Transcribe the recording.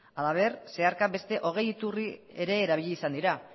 halaber zeharka beste hogei iturri ere erabili izan dira